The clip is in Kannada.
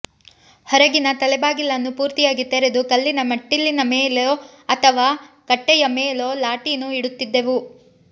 ಹೊರಗಿನ ತಲೆಬಾಗಿಲನ್ನು ಪೂರ್ತಿಯಾಗಿ ತೆರೆದು ಕಲ್ಲಿನ ಮೆಟ್ಟಿಲಿನ ಮೇಲೊ ಅಥವಾ ಕಟ್ಟೆಯಮೇಲೊ ಲಾಟೀನು ಇಡುತ್ತಿದ್ದೆವು